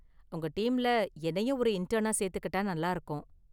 உங்க டீம்ல என்னையும் ஒரு இன்டெனா சேர்த்துகிட்டா நல்லா இருக்கும்.